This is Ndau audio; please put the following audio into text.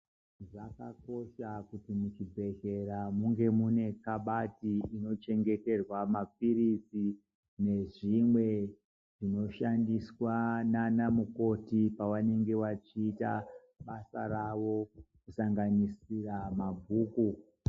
Zvakakosha kuti muzvibhedhlera munge mune kabati inochengeterwa mapirizi nezvimwe zvinoshandiswa nanamukoti pawanenge wachiita basa rawo kusanganisira mabhuku.